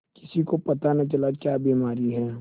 किसी को पता न चला क्या बीमारी है